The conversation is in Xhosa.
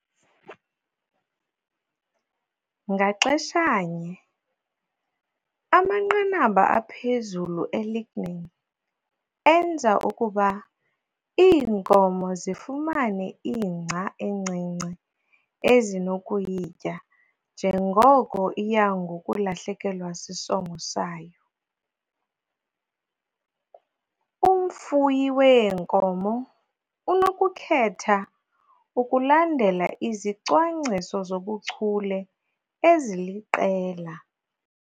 Ngaxeshanye, amanqanaba aphezulu e-lignin enza ukuba iinkomo zifumane ingca encinci ezinokuyitya njengoko iya ngokulahlekelwa sisongo sayo. Umfuyi weenkomo unokukhetha ukulandela izicwangciso zobuchule eziliqela.